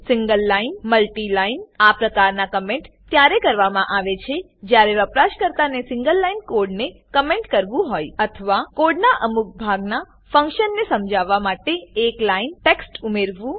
single line multi line આ પ્રકારના comment ત્યારે કરવામા આવે છે જયારે વપરાશકરતાને સિંગલલાઈન કોડને કમેન્ટ કરવું હોય અથવા કોડના અમુક ભાગના ફન્કશન ને સમજાવવા માટે એક લાઈન ટેક્સ્ટ ઉમેરવું